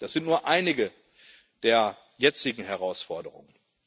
Das sind nur einige der jetzigen Herausforderungen.